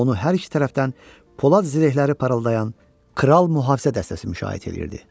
Onu hər iki tərəfdən polad zirəhləri parıldayan kral mühafizə dəstəsi müşayiət eləyirdi.